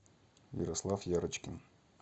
ярослав ярочкин